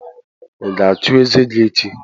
Ị ga-achụ eze gị echi?